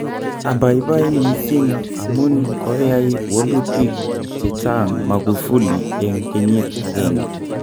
Abaibai mising' amun koyai wolutik chechang Magufuli en kenyit ageng'e.